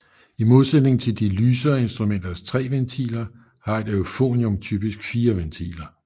I modsætning til de lysere instrumenters 3 ventiler har et euphonium typisk 4 ventiler